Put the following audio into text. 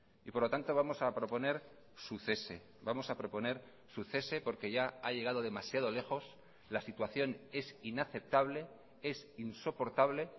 y por lo tanto vamos a proponer su cese vamos a proponer su cese porque ya ha llegado demasiado lejos la situación es inaceptable es insoportable